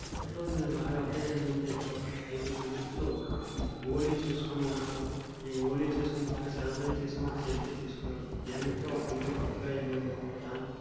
Photo మీరు బాగా observe చేసి నట్టు ఉంటే ఇక్కడ ఒక అయిధు గురు వ్యక్తులు హోలీ చేసికుని ఉన్నారు. ఈ హోలీ చేసి బాగా సెలబరట్ ఒక సెల్ఫ్ తెసుకున్నారు. వెనక ఒక ఇల్లు కొత్తగా ఇల్లు ఉంది.